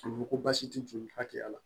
U ko ko baasi tɛ joli hakɛya la